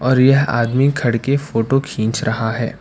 और यह आदमी खड़ के फोटो खींच रहा है।